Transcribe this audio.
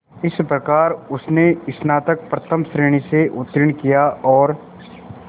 इस प्रकार उसने स्नातक प्रथम श्रेणी से उत्तीर्ण किया और